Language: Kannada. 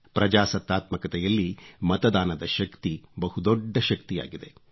ಪ್ರಜಾಸತ್ತಾತ್ಮಕತೆಯಲ್ಲಿ ಮತದಾನದ ಶಕ್ತಿ ಬಹುದೊಡ್ಡ ಶಕ್ತಿಯಾಗಿದೆ